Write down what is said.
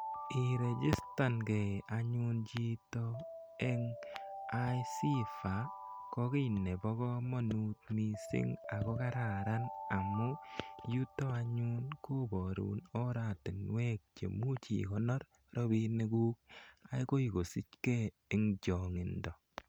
Itejistangei anyun chito eng' ICIFA ko ki nepo kamanut missing' ako kararan amu yuto anyun koparun oratinwek che imuchi ikonor rapinikuk akoi kosichgei eng' chang'indo.